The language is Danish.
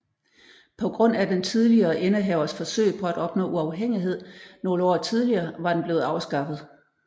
På grund af den tidligere indehavers forsøg på at opnå uafhængighed nogle år tidligere var den blevet afskaffet